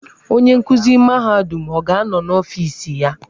Onye nkuzi mahadum ọ ga-anọ n'ọfiis iya?